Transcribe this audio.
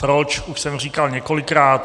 Proč, už jsem říkal několikrát.